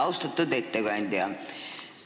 Austatud ettekandja!